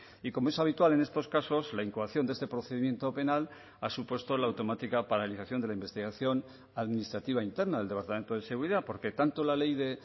y como es habitual en estos casos la incoación de este procedimiento penal ha supuesto la automática paralización de la investigación administrativa interna del departamento de seguridad porque tanto la ley de